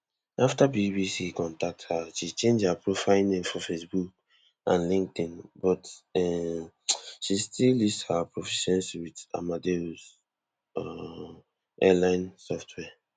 afta bbc contact her she change her profile name for facebook and linkedin but um she still list her proficiency with amadeus um airline software